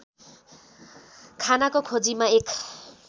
खानाको खोजीमा एक